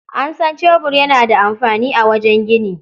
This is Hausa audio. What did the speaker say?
An san cebur yana da amfani a wajen gini.